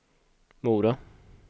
Mora